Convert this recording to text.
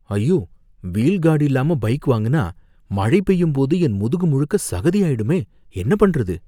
ஐயோ! Wheel guard இல்லாம bike வாங்குனா மழை பெய்யும்போது என் முதுகு முழுக்க சகதியாயிடுமே, என்ன பண்றது?